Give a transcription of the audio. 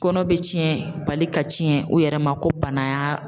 Kɔnɔ bɛ cɛn bali ka cɛn o yɛrɛ ma ko bana y'a